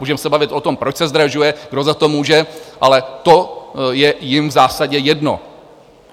Můžeme se bavit o tom, proč se zdražuje, kdo za to může, ale to je jim v zásadě jedno.